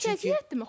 Axı əziyyətdir?